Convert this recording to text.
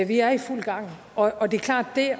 vi er i fuld gang og det er klart at det